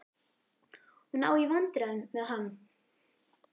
Hún á í vandræðum með hann.